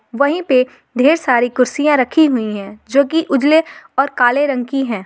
वहीं पे ढेर सारी कुर्सियां रखी हुई है जो की उजले और काले रंग की है।